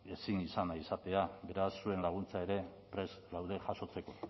ezin izan nahi izatea beraz zuen laguntza ere prest gaude jasotzeko